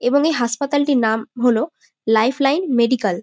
এবং এই হাসপাতালটির নাম হলো লাইফ লাইন মেডিক্যাল ।